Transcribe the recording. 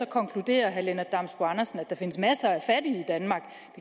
konkluderer herre lennart damsbo andersen at der findes masser af fattige